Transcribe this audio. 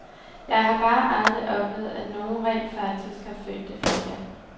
Jeg har bare aldrig oplevet, at nogen rent faktisk har følt det forkert.